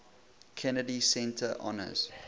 kennedy center honors